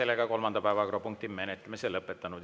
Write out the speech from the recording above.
Oleme kolmanda päevakorrapunkti menetlemise lõpetanud.